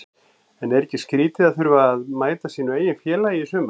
En er ekki skrítið að þurfa að mæta sínu eigin félagi í sumar?